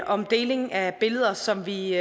om deling af billeder som vi